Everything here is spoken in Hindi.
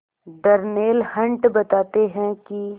डर्नेल हंट बताते हैं कि